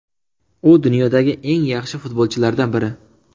U dunyodagi eng yaxshi futbolchilardan biri.